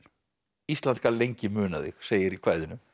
ísland skal lengi muna þig segir í kvæðinu